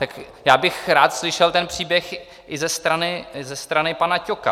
Tak já bych rád slyšel ten příběh i ze strany pana Ťoka.